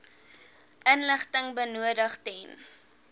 inligting benodig ten